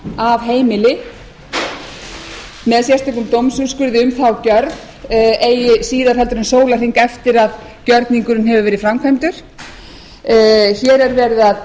af heimili með sérstökum dómsúrskurði um þá gjörð eigi síðar heldur en sólarhring eftir að gjörningurinn hefur verið framkvæmdur hér er verið að